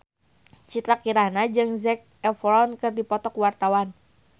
Citra Kirana jeung Zac Efron keur dipoto ku wartawan